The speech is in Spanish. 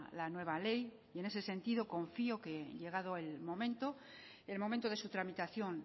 la nueva ley en ese sentido confío que llegado el momento el momento de su tramitación